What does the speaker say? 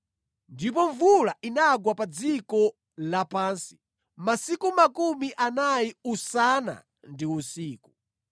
Ndipo mvula inagwa pa dziko lapansi masiku makumi anayi usana ndi usiku.